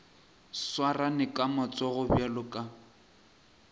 swarane ka matsogo bjalo ka